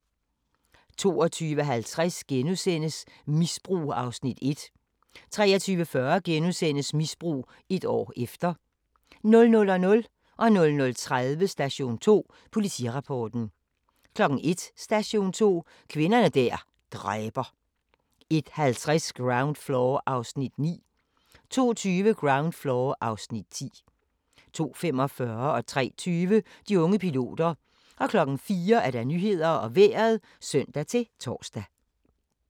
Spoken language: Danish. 22:50: Misbrug (Afs. 1)* 23:40: Misbrug - et år efter * 00:00: Station 2: Politirapporten 00:30: Station 2: Politirapporten 01:00: Station 2: Kvinder der dræber 01:50: Ground Floor (Afs. 9) 02:20: Ground Floor (Afs. 10) 02:45: De unge piloter 03:20: De unge piloter 04:00: Nyhederne og Vejret (søn-tor)